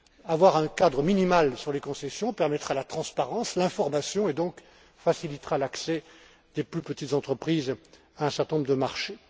Avoir un cadre minimal sur les concessions permettra la transparence, l'information et, donc, facilitera l'accès des plus petites entreprises à un certain nombre de marchés.